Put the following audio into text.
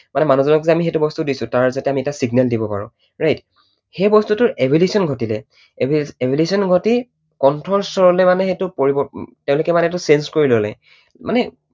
মানে মানুহজনক যে আমি সেইটো বস্তু দিছো তাৰ যাতে আমি এটা signal দিব পাঁৰো right সেই বস্তুটোৰ evolution ঘটিলে। evolution ঘটি কণ্ঠস্বৰলৈ মানে সেইটো পৰিৱ, তেঁওলোকে মানে সেইটো change কৰি ললে। মানে